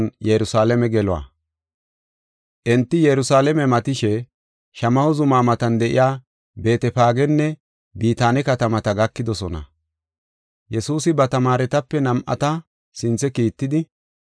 Enti Yerusalaame matishe, Shamaho zuma matan de7iya Beetefaagenne Bitaane katamata gakidosona. Yesuusi ba tamaaretape nam7ata sinthe kiittidi,